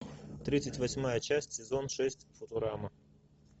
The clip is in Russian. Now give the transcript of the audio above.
тридцать восьмая часть сезон шесть футурама